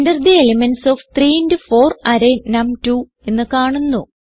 Enter the elements of 3 into 4 array നം2 എന്ന് കാണുന്നു